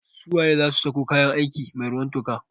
Su waye zasu sako kayan aiki mai ruwan toka?